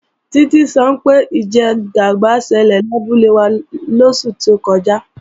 Títí sọ pé ìjẹgàba ṣẹlẹ̀ labúlé lóṣù tó kọjá